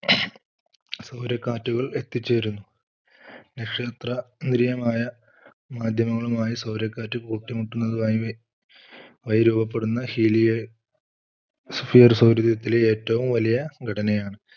സൗര കാറ്റുകൾ എത്തിച്ചേരുന്നു. നക്ഷത്ര നിര്യമായ മാധ്യമങ്ങളുമായി സൗരക്കാറ്റ് കൂട്ടിമുട്ടുന്നതുമായി ആയി രൂപപ്പെടുന്ന helia സൗരയൂഥത്തിലെ ഏറ്റവും വലിയ ഘടനയാണ്.